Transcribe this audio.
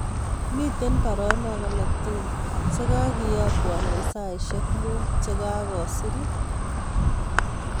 Miten baronok alak tugul chegageyakwon en saisiek mut chegagosir